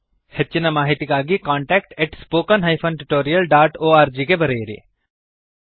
ಹೆಚ್ಚಿನ ಮಾಹಿತಿಗಾಗಿcontactspoken tutorialorg ಗೆ ಬರೆಯಿರಿ